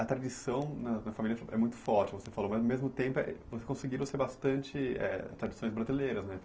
A tradição na na família é muito forte, você falou, mas ao mesmo tempo vocês conseguiram ser bastante eh tradições brasileiras, né?